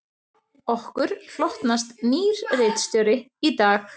Okkur hlotnast nýr ritstjóri í dag